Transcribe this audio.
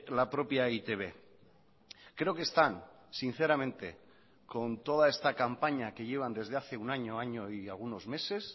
la propia e i te be creo que están sinceramente con toda esta campaña que llevan desde hace un año año y algunos meses